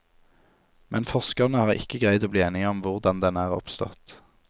Men forskerne har ikke greid å bli enige om hvordan den er oppstått.